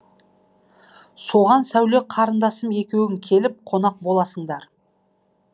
соған сәуле қарындасым екеуің келіп қонақ боласыңдар